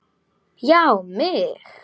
Já mig!